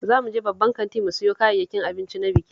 Za mu je babban kanti mu sayo kayayyakin abinci na bikin